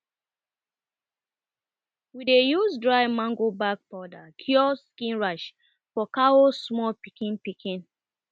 we dey use dry mango bark powder cure skin rash for cow small pikin pikin